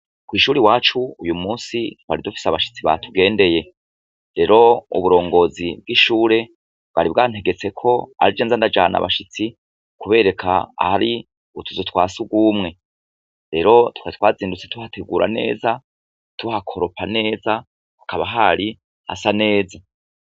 Kw'ishure iwacu twari dufise abashitsi batugendeye, rero uburongozi bwishure bwari bwantegetse ko arije nzandajana abanshitse mukubereka ahari utuzu twasugumwe rero .Twari twazindutse Tuhakora neza, tuhakoropa neza hakaba hari hasa neza.